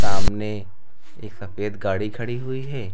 सामने एक सफेद गाड़ी खड़ी हुई है।